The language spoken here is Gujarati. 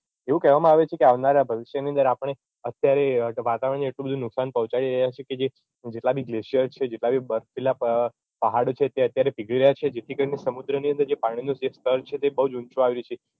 એવું કેહવામાં આવે છે કે આવનારા ભવિષ્યની અંદર આપણે અત્યારે વાતાવરણને એટલું બધું નુકશાન પોહચાડી રહ્યાં છે કે જે જેટલાં બી glacier છે જેટલાં બી પહાડો છે અત્યારે પીગળી રહ્યાં છે જેથી કરીને સમુદ્રની અંદર જે પાણીનું જે સ્તર છે તે બઉ જ ઊંચું આવી ગયું છે